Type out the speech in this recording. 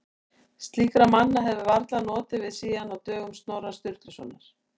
Slíkra manna hefði varla notið við síðan á dögum Snorra Sturlusonar.